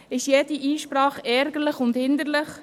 Ist jede Einsprache ärgerlich und hinderlich?